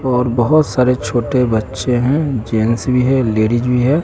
और बहोत सारे छोटे बच्चे हैं जेंट्स भी है लेडिस भी है।